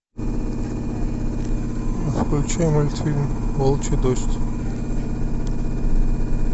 включи мультфильм волчий дождь